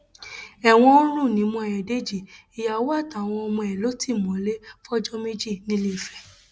ẹwọn ń rùn nímú ayọdèjì ìyàwó àtàwọn ọmọ ẹ ló ti mọlẹ fọjọ méjì ńiléfè